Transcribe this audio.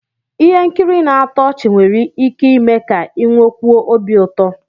Ihe nkiri na-atọ ọchị nwere ike ime ka ị nwekwuo obi ụtọ